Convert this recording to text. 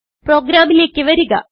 പ്രോഗ്രാമിലേക്ക് വരിക